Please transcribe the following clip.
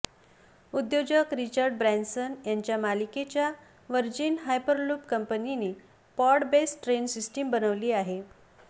उद्योजक Richard Branson यांच्या मालकीच्या व्हर्जिन हायपरलूप पंपनीने पॉड बेस्ड ट्रेन सिस्टीम बनवली आहे